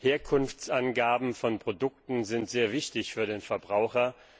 Herkunftsangaben von Produkten sind sehr wichtig für den Verbraucher.